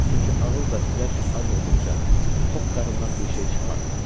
Çünki ağıl və ürək ac olduqca tox qarından bir şey çıxmaz.